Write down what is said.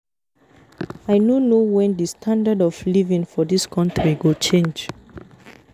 I no know wen the standard of living for dis country go change